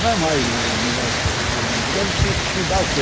Não é mais o negócio virando, virando, porque isso te dá o quê?